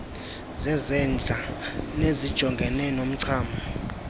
zezandla nezijongene nomchamo